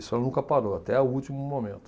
Isso ela nunca parou, até o último momento.